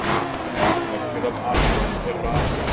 Megnið af alheiminum er rafgas.